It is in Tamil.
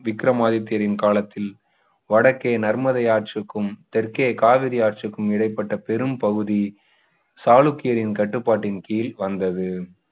விக்ரமாதித்யரின் காலத்தில் வடக்கே நர்மதை ஆற்றுக்கும் தெற்கே காவிரி ஆற்றுக்கும் இடைப்பட்ட பெரும் பகுதி சாளுக்கியரின் கட்டுப்பாட்டின் கீழ் வந்தது